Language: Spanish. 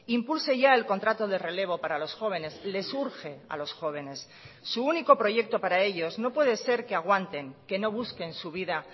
impulse ya el contrato de relevo para los jóvenes les urge a los jóvenes su único proyecto para ellos no puede ser que aguanten que no busquen su vida